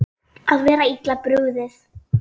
Að vera illa brugðið